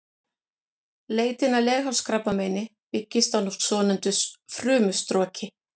Leitin að leghálskrabbameini byggist á svonefndu frumustroki.